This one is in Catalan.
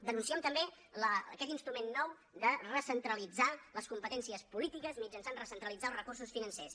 denunciem també aquest instrument nou de recentralitzar les competències polítiques mitjançant recentralitzar els recursos financers